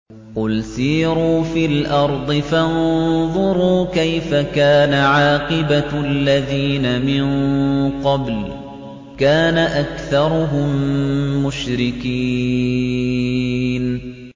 قُلْ سِيرُوا فِي الْأَرْضِ فَانظُرُوا كَيْفَ كَانَ عَاقِبَةُ الَّذِينَ مِن قَبْلُ ۚ كَانَ أَكْثَرُهُم مُّشْرِكِينَ